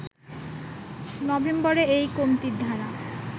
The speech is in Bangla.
নভেম্বরে এই কমতির ধারা